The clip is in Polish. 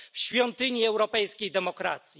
r. w świątyni europejskiej demokracji.